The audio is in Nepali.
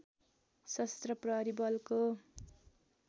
सशस्त्र प्रहरी बलको